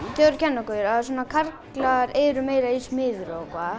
kenna okkur að karlar eru meira í smíðum